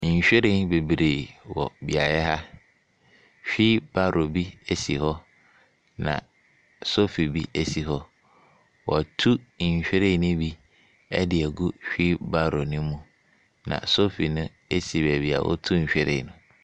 Nhwiren bebree wɔ beaeɛ ha. Wheelbarrow bi si hɔ, na sofi bi si hɔ. Wɔatu nhwiren no bi de agu wheelbarrow no mu, na sofi no si baabi a wɔtu nhwiren no.